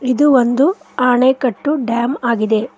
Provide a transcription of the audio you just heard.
ಇದು ಒಂದು ಆಣೆಕಟ್ಟು ಡ್ಯಾಮ್ ಆಗಿದೆ.